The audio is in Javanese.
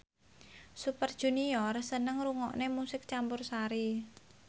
Super Junior seneng ngrungokne musik campursari